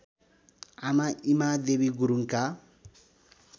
आमा ईमादेवी गुरुङका